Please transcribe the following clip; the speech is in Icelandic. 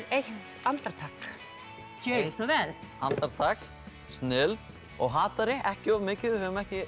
eitt andartak gjörið svo vel andartak snilld og ekki of mikið við höfum ekki